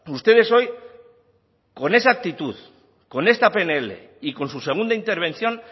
ustedes hoy con esa actitud con esta pnl y con su segunda intervención